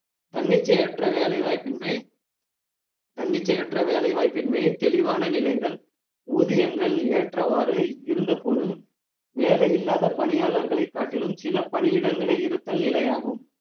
தன்னிச்சையற்ற வேலைவாய்ப்பின்மை தன்னிச்சையற்ற வேலை வாய்ப்பின்மை தெளிவான நிலைகள் ஊதியங்கள் ஏற்றவாறு இருந்த போதும் வேலை இல்லாத பணியாளர்களை காட்டிலும் சில பணியிடங்களே இருத்தல் நிலையாகும்